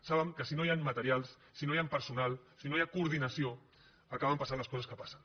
saben que si no hi han materials si no hi ha personal si no hi ha coordinació acaben passant les coses que passen